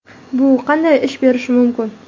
Bu qanday ish berishi mumkin?